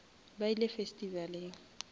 ba ile festivaleng